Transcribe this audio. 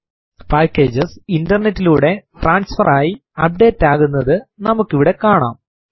packages ഇന്റെർനെറ്റിലൂടെ transfer ആയി update ആകുന്നതു നമുക്കിവിടെ കാണാം